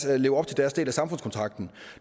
at leve op til deres del af samfundskontrakten